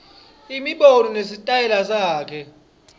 imibono nesitayela sakhe